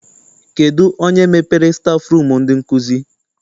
Kedụ onye mepere stafụrum ndị nkụzi?